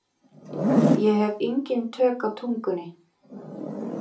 Ég hef engin tök á tungunni.